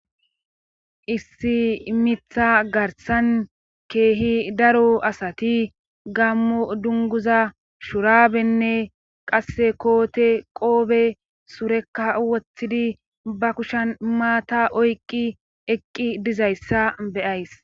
Issi mitha garsan keehi daro asati gammo dunguza shurabenne qasse koote qoobe surekka wothidi ba kushan maata oyqqi eqqi dizayssa beyays.